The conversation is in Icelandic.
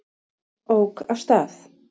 Ók af stað